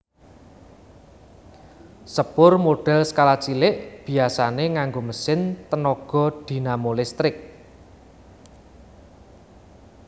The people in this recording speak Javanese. Sepur modèl skala cilik biasané nganggo mesin tenaga dinamo listrik